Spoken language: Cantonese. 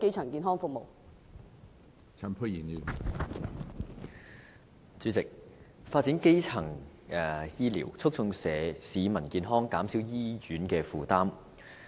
主席，我支持發展基層醫療，促進市民健康，減少醫院的負擔。